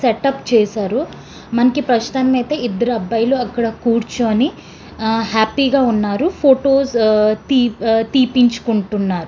Setup చేసారు. మనకి ప్రస్తుతానికైతే ఇద్దరు అబ్బాయిలు అక్కడ కూర్చొని ఆహ్ హ్యాపీగా ఉన్నారు. ఫొటోస్ తిప్ ఆహ్ తీపిచుకుంటున్నారు.